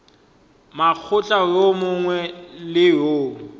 mokgatlo wo mongwe le wo